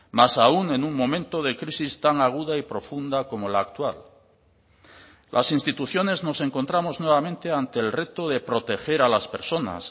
más aún en un momento de crisis tan aguda y profunda como la actual las instituciones nos encontramos nuevamente ante el reto de proteger a las personas